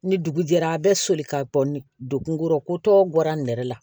Ni dugu jɛra a bɛ soli ka bɔ ni degun kɔrɔ ko tɔ bɔra nɛrɛ la